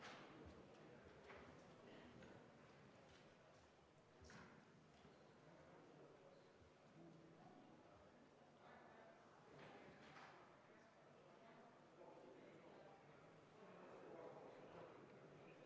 V a h e a e g